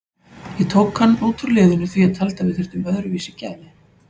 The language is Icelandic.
Ég tók hann út úr liðinu því að ég taldi að við þyrftum öðruvísi gæði.